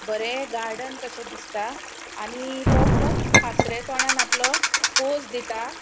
बरे गार्डन कशे दिसता आणि तो खूब हासरे तोणान आपलो पोज दीता.